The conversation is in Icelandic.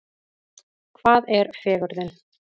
Hvað er fegurðin?